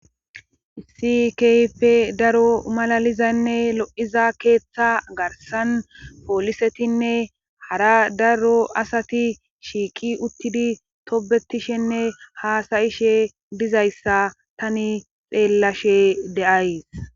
issi ype daro malalizanne lo7iza keeththa garsan poolisetinne hara daro asati shiiqi uttidi tobetishenne haasayishe dizayssa tani xeellashe deay